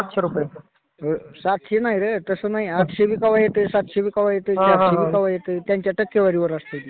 सातशे रुपये नाही रे. तसं नाही. आठशे बी कवा येतंय. सातशे बी कवा येतंय.चारशे बी कवा येतंय. त्यांच्या टक्केवारीवर असतं.